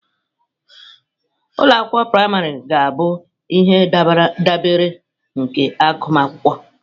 Ụlọ akwụkwọ praịmarị ga-abụ ihe ndabere nke agụmakwụkwọ.